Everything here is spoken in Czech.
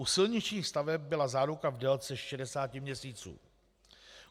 U silničních staveb byla záruka v délce 60 měsíců.